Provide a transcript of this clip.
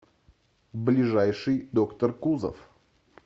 ближайший доктор кузов